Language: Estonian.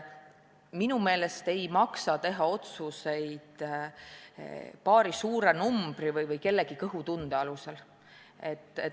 Minu meelest ei maksa teha otsuseid paari suure numbri või kellegi kõhutunde alusel.